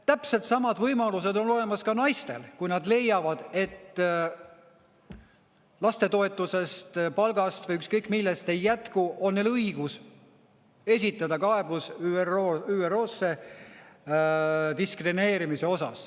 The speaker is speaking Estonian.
Täpselt samad võimalused on olemas ka naistel: kui nad leiavad, et lastetoetusest, palgast või ükskõik millest ei jätku, on neil õigus esitada kaebus ÜRO-sse diskrimineerimise osas.